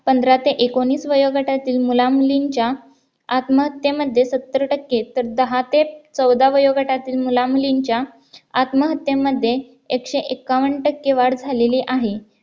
पंधरा ते एकोणीस वयोगटातील मुला-मुलींच्या आत्महत्तेमध्ये सत्तर टक्के तर दहा ते चौदा वयोगटातील मुला-मुलींच्या आत्महत्तेमध्ये एकशे एक्कावन्न टक्के वाढ झालेली आहे